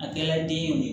A kɛla den ye